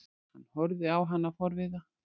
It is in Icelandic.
Hann horfði á hana forviða.